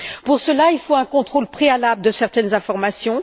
Pour cela, il faut un contrôle préalable de certaines informations.